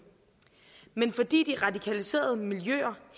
men fordi de radikaliserede miljøer